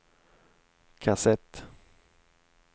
kassett